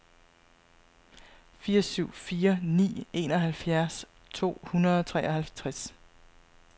fire syv fire ni enoghalvfjerds to hundrede og treoghalvtreds